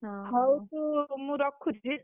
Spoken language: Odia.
ହଁ, ହଉ ତୁ ମୁଁ ରଖୁଛି।